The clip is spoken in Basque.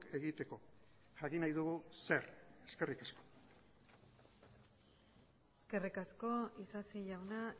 egiteko jakin nahi dugu zer eskerrik asko eskerrik asko isasi jauna